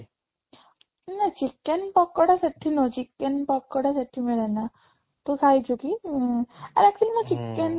ନା chicken ପକୋଡା ସେଠି ନୁହଁ chicken ପକୋଡା ସେଠି ମିଳେନା ତୁ ଖାଇଛୁ କି ଉଁ ଆରେ actually chicken ପକଡା